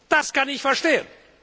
Das kann ich verstehen!